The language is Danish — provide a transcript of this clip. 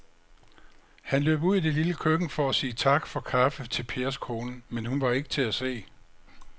Han løb ud i det lille køkken for at sige tak for kaffe til Pers kone, men hun var ikke til at se.